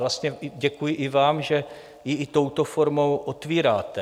Vlastně děkuji i vám, že ji i touto formou otvíráte.